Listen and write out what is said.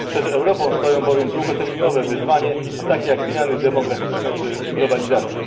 Przed Europą stoją bowiem długoterminowe wyzwania, takie jak zmiany demograficzne czy globalizacja.